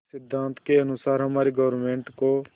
इस सिद्धांत के अनुसार हमारी गवर्नमेंट को